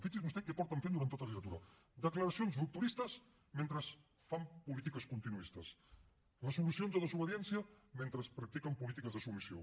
fixi’s vostè què porten fent durant tota la legislatura declaracions rupturistes mentre fan polítiques continuistes resolucions de desobediència mentre practiquen polítiques de submissió